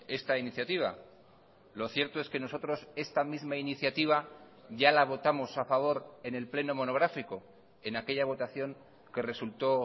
esta iniciativa lo cierto es que nosotros esta misma iniciativa ya la votamos a favor en el pleno monográfico en aquella votación que resulto